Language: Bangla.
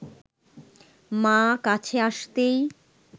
মা কাছে আসতেই